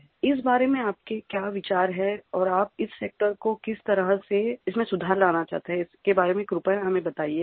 इस बारे में आपके क्या विचार हैं और आप इस सेक्टर को किस तरह से इसमें सुधार लाना चाहते हैं इसके बारे में कृपया हमें बताइए